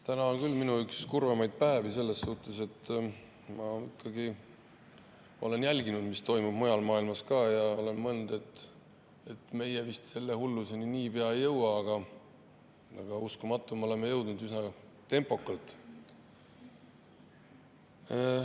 Täna on küll üks minu kurvemaid päevi, seetõttu, et ma olen jälginud, mis toimub mujal maailmas, ja olen mõelnud, et meie vist selle hulluseni niipea ei jõua, aga uskumatu, et me oleme jõudnud ja üsna tempokalt.